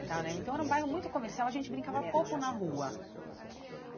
Então eu lembro então era um bairro muito comercial, a gente brincava pouco na rua.